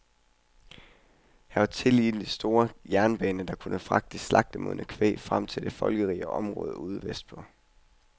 Her var tillige den store jernbane, der kunne fragte det slagtemodne kvæg frem til de folkerige områder ude vestpå.